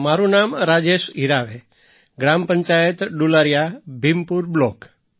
મારું નામ રાજેશ હિરાવે ગ્રામ પંચાયત ડુલારિયા ભીમપુર બ્લૉક